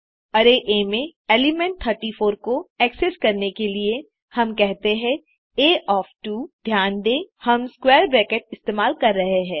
array A में element 34 को access करने के लिए हम कहते हैं आ ओएफ 2 ध्यान दें हम स्क्वैर ब्रेकेट्स इस्तेमाल कर रहे हैं